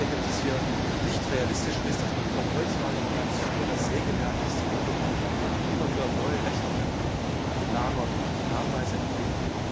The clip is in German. Ich denke, dass es hier nicht realistisch ist, dass man vom Holzlagerplatz über das Sägewerk bis zur Möbelfabrik immer wieder neue Rechnungen lagert und Nachweise erbringt.